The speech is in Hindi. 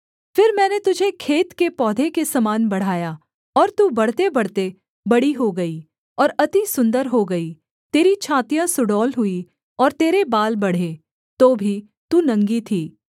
फिर मैंने तुझे खेत के पौधे के समान बढ़ाया और तू बढ़तेबढ़ते बड़ी हो गई और अति सुन्दर हो गई तेरी छातियाँ सुडौल हुईं और तेरे बाल बढ़े तो भी तू नंगी थी